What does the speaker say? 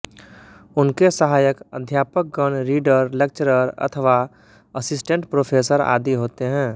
उनके सहायक अध्यापकगण रीडर लेक्चरर अथवा असिस्टेंट प्रोफेसर आदि होते हैं